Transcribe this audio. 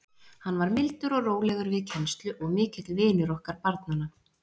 Hann var mildur og rólegur við kennslu og mikill vinur okkar barnanna.